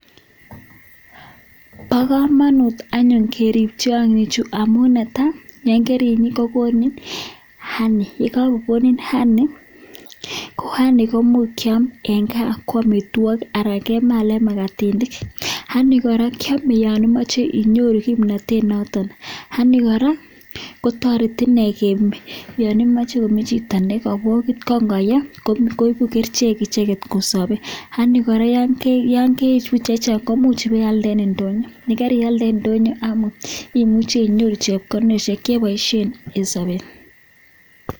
Bo kkomnonut anyun kerib tiong'ichu amun netai: ngerib kogonu honey yon kagokonin honey ko honey koimuch kyam en gaa ko amitwogik anan kemalan magatiat. Honey kora kyame yon imoche inyoru kimnatet noton, honey kotoreti inee yon imoche koshong' chito nekobogit ko ingoyee koigu kerichek icheget kosobe, Honey kora yon keibu chechang komuch ibaialde en ndonyo. Yon karialde en ndonyo imuche inyoru chepkondok che iboishen en soobet.